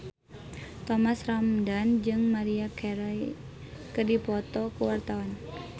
Thomas Ramdhan jeung Maria Carey keur dipoto ku wartawan